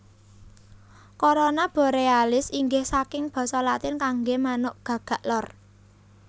Corona Borealis inggih saking basa Latin kanggé manuk gagak lor